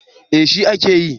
Eh shi a ke yi